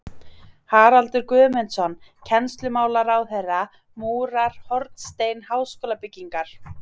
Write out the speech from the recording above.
Haraldur Guðmundsson, kennslumálaráðherra, múrar hornstein háskólabyggingar